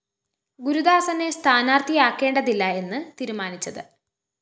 ഗുരുദാസനെ സ്ഥാനാര്‍ത്ഥിയാക്കേണ്ടതില്ല എന്നു തീരുമാനിച്ചത്